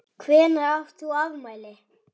Líttu bara í spegil.